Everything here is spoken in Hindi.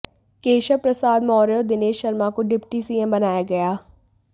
केशव प्रसाद मौर्य और दिनेश शर्मा को डिप्टी सीएम बनाया गया